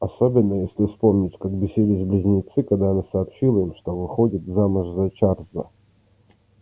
особенно если вспомнить как бесились близнецы когда она сообщила им что выходит замуж за чарльза